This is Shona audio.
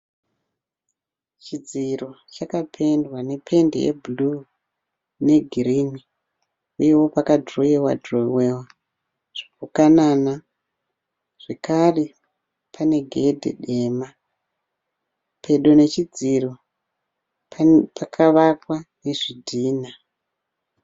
Chidziro chakapendwa nependi ye(blue) ne girini uye pakadhirowewa dhirowewa zvipukanana. Zvakare pane gedhi dema. Pedo nechidziro pakavakwa nezvidhinha.